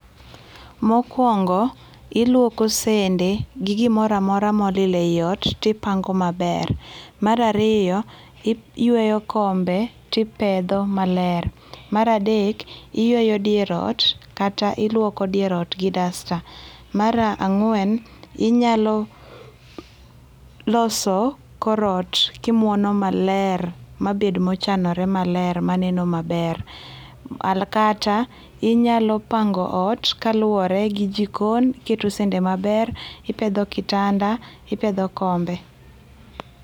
Mokuongo iluoko sende gi gimoro amoro amora molil e ot to ipango maber. Mar ariyo iyweyo kombe to ipedho maler, mar adek iyweyo dier ot kata iluoko dier ot gi dasta, mar angwen, inyalo loso kor ot kimuono maler mabed mochanore maler maneno maber kata inyalo pango ot kaluore gi jikon, iketo sene mber, ipedho kitanda, ipedho kombe